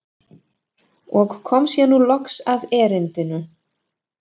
Og kom sér nú loks að erindinu.